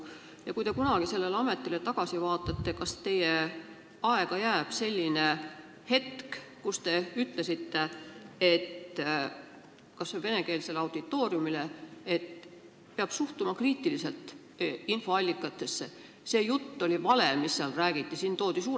Ja kui te kunagi sellele ametile tagasi vaatate, siis kas teie aega jääb ka selline hetk, kui te ütlesite kas või venekeelsele auditooriumile, et infoallikatesse peab suhtuma kriitiliselt, et see jutt oli vale, mis seal räägiti?